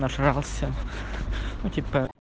нажрался ну типа